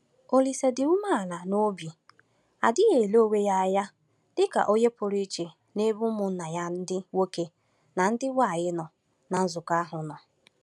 Olise dị umeala n’obi adịghị ele onwe ya anya dị ka onye pụrụ iche n’ebe ụmụnna ya ndị nwoke na ndị nwanyị nọ ná nzukọ ahụ nọ.